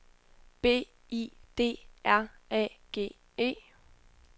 B I D R A G E